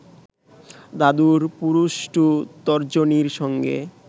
দাদুর পুরুষ্টু তর্জনীর সঙ্গে